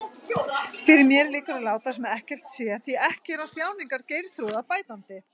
Fyrir mér liggur að láta sem ekkert sé, því ekki er á þjáningar Geirþrúðar bætandi.